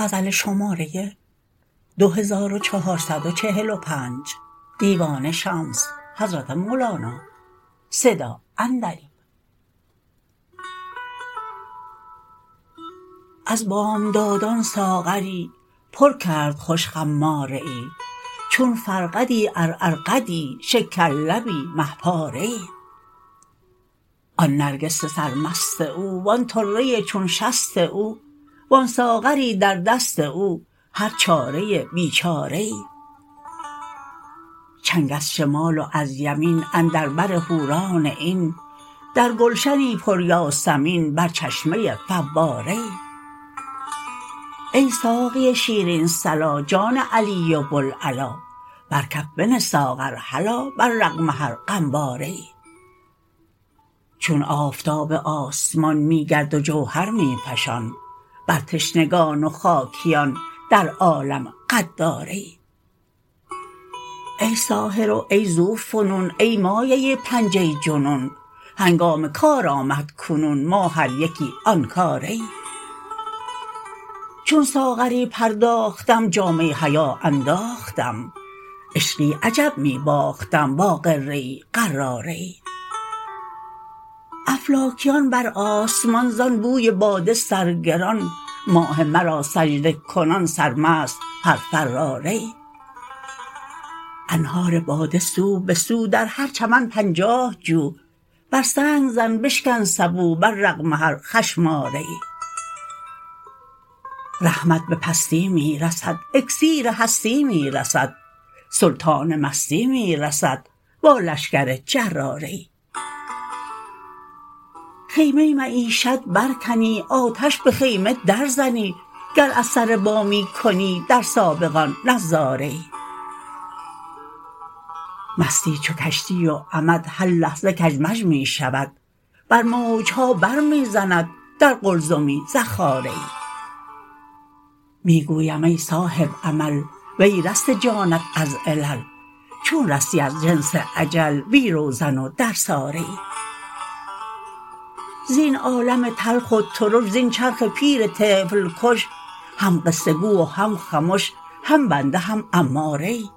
از بامدادان ساغری پر کرد خوش خماره ای چون فرقدی عرعرقدی شکرلبی مه پاره ای آن نرگس سرمست او و آن طره چون شست او و آن ساغری در دست او هر چاره بیچاره ای چنگ از شمال و از یمین اندر بر حوران عین در گلشنی پر یاسمین بر چشمه ای فواره ای ای ساقی شیرین صلا جان علی و بوالعلا بر کف بنه ساغر هلا بر رغم هر غم باره ای چون آفتاب آسمان می گرد و جوهر می فشان بر تشنگان و خاکیان در عالم غداره ای ای ساحر و ای ذوفنون ای مایه پنجه جنون هنگام کار آمد کنون ما هر یکی آن کاره ای چون ساغری پرداختم جامه حیا انداختم عشقی عجب می باختم با غره غراره ای افلاکیان بر آسمان زان بوی باده سرگران ماه مرا سجده کنان سرمست هر فراره ای انهار باده سو به سو در هر چمن پنجاه جو بر سنگ زن بشکن سبو بر رغم هر خشم آره ای رحمت به پستی می رسد اکسیر هستی می رسد سلطان مستی می رسد با لشکر جراره ای خیمه معیشت برکنی آتش به خیمه درزنی گر از سر بامی کنی در سابقان نظاره ای مستی چو کشتی و عمد هر لحظه کژمژ می شود بر موج ها بر می زند در قلزمی زخاره ای می گویم ای صاحب عمل و ای رسته جانت از علل چون رستی از حبس اجل بی روزن و درساره ای زین عالم تلخ و ترش زین چرخ پیر طفل کش هم قصه گو و هم خمش هم بنده هم اماره ای